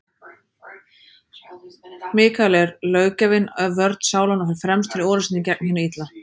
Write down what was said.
Mikael er löggjafinn, vörn sálanna, og fer fremstur í orrustunni gegn hinu illa.